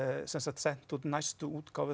sent út næstu útgáfu